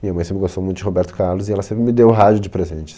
Minha mãe sempre gostou muito de Roberto Carlos e ela sempre me deu rádio de presente.